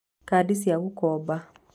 Kadi cia gũkomba: